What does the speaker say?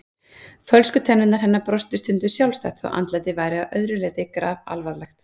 Fölsku tennurnar hennar brostu stundum sjálfstætt þótt andlitið væri að öðru leyti grafalvarlegt.